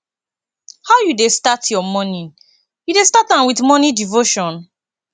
how you dey start you morning you dey start am with morning devotion